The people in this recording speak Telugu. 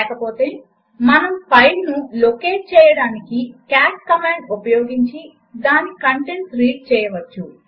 లేకపోతే మనము ఫైలును లొకేట్ చేయడానికి కాట్ కమాండ్ ఉపయోగించి దాని కంటెంట్స్ రీడ్ చేయవచ్చు